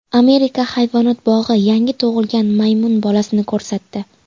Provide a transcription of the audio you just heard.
Amerika hayvonot bog‘i yangi tug‘ilgan maymun bolasini ko‘rsatdi .